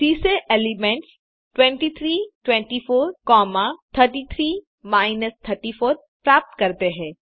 सी से elements 23 24 comma 33 34 प्राप्त करें